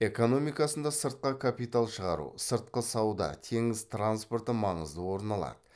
экономикасында сыртқа капитал шығару сыртқы сауда теңіз транспорты маңызды орын алады